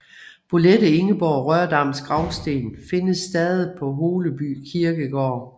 Bolette Ingeborg Rørdams gravsten findes stadig på Holeby kirkegård